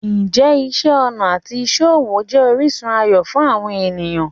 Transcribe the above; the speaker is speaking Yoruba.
Ǹjẹ́ iṣẹ́ ọnà àti iṣẹ́ ọwọ́ jẹ́ orísun ayọ̀ fún àwọn ènìyàn?